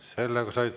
Teie aeg!